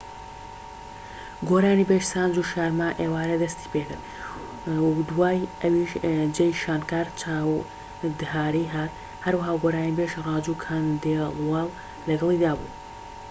گۆرانیبێژ سانجو شارما ئێوارە دەستی پێکرد و دوای ئەوییش جەی شانکار چاودهاڕی هات هەروەها گۆرانیبێژ ڕاجو کەندێڵوەل لەگەڵیدا بوو